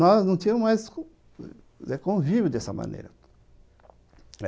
Nós não tínhamos mais convívio dessa maneira.